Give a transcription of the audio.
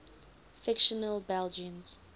fictional belgians